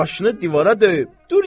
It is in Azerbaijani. Başını divara döyüb.